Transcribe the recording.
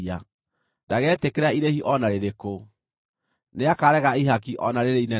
Ndagetĩkĩra irĩhi o na rĩrĩkũ; nĩakaarega ihaki o na rĩrĩ inene atĩa.